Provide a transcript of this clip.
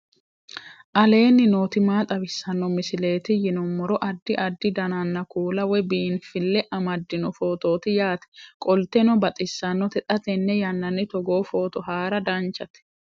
aleenni nooti maa xawisanno misileeti yinummoro addi addi dananna kuula woy biinfille amaddino footooti yaate qoltenno baxissannote xa tenne yannanni togoo footo haara danchate